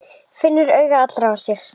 Finnur augu allra á sér.